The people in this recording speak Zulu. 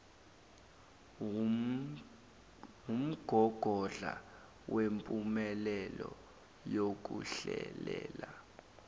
wumgogodla wempumelelo yokuhlelela